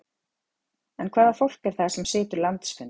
En hvaða fólk er það sem situr landsfund?